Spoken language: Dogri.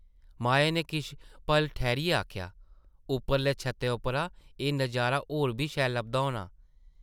माया नै किश पल ठैह्रियै आखेआ, ‘‘उप्परले छत्तै उप्परा एह् नज़ारा होर बी शैल लभदा होना!’’